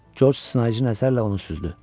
Corc Sınaicin əsərlə onu süzdü.